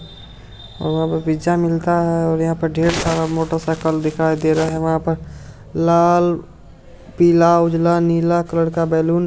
और वहाँ पर पिज्जा मिलता है और यहां पर ढेर सारा मोटरसाइकिल दिखाए दे रहा है और वहां पर लाल पीला नीला उजला कलर का बैलून